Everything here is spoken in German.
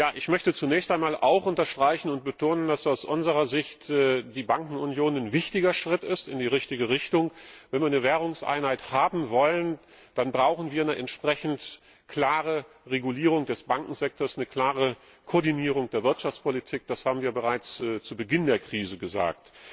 Ich möchte zunächst auch einmal unterstreichen, dass aus unserer Sicht die Bankenunion ein wichtiger Schritt in die richtige Richtung ist. Wenn wir eine Währungseinheit haben wollen, dann brauchen wir eine entsprechend klare Regulierung des Bankensektors, eine klare Koordinierung der Wirtschaftspolitik. Das haben wir bereits zu Beginn der Krise gesagt.